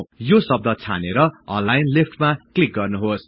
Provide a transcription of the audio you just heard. यो शब्द छानेर एलाइन लेफ्ट मा क्लिक गर्नुहोस्